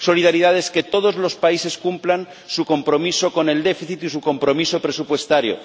Solidaridad es que todos los países cumplan su compromiso con el déficit y su compromiso presupuestario